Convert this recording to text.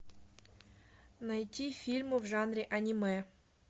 найти фильмы в жанре аниме